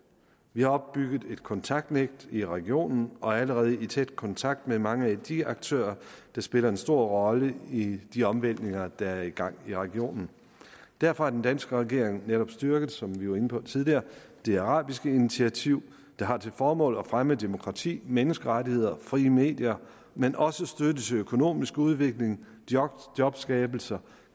vi har opbygget et kontaktnet i regionen og er allerede i tæt kontakt med mange af de aktører der spiller en stor rolle i de omvæltninger der er i gang i regionen derfor har den danske regering netop styrket som vi var inde på tidligere det arabiske initiativ der har til formål at fremme demokrati menneskerettigheder frie medier men også støtte til økonomisk udvikling jobskabelse